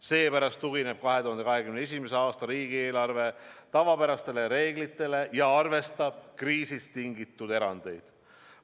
Seepärast tugineb 2021. aasta riigieelarve tavapärastele reeglitele ja arvestab kriisist tingitud erandeid.